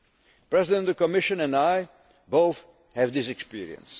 impact. The President of the Commission and I both have this experience.